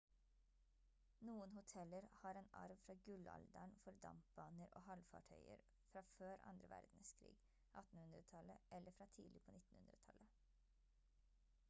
noen hoteller har en arv fra gullalderen for dampbaner og havfartøyer fra før andre verdenskrig 1800-tallet eller fra tidlig på 1900-tallet